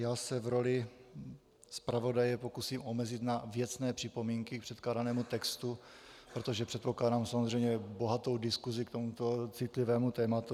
Já se v roli zpravodaje pokusím omezit na věcné připomínky k předkládanému textu, protože předpokládám samozřejmě bohatou diskusi k tomuto citlivému tématu.